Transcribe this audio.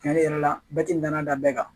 Cɛnni yɛrɛ la bɛɛ ti danan dan bɛɛ kan